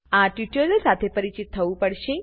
આ ટ્યુટોરીયલ સાથે પરિચિત થવું પડશે